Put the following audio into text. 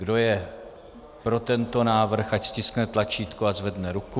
Kdo je pro tento návrh, ať stiskne tlačítko a zvedne ruku.